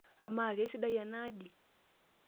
Amaa, keisidai enaaji?